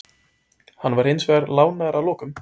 Hann var hins vegar lánaður að lokum.